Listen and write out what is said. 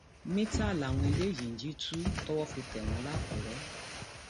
mìtá làwọn eléyìí ń jí tu um tówó fi tẹ wọn lákùrẹ um